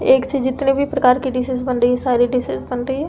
एक सी जितनी भी प्रकार की डिशेज़ बन रही है सारी डिशेज़ बन रही है।